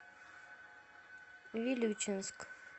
вилючинск